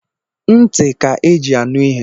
Ntị ka e ji anụ ihe